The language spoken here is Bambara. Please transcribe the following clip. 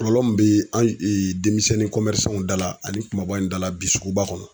Kɔlɔlɔ mun bi an denmisɛnnin dala ani kumabaw dala bi suguba kɔnɔ